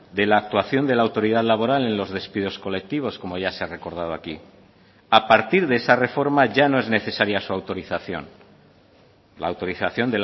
de la actuación de la autoridad laboral en los despidos colectivos como ya se ha recordado aquí a partir de esa reforma ya no es necesaria su autorización la autorización